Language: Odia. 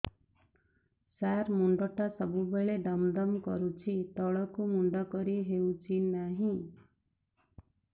ସାର ମୁଣ୍ଡ ଟା ସବୁ ବେଳେ ଦମ ଦମ କରୁଛି ତଳକୁ ମୁଣ୍ଡ କରି ହେଉଛି ନାହିଁ